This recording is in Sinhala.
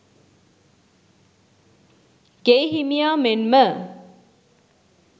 ගෙයි හිමියා මෙන්ම